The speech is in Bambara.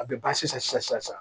A bɛ ban sisan